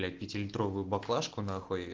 блять пятилитровую баклажку на хуй